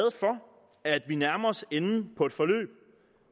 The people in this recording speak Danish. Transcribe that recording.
for at vi nærmer os enden på et forløb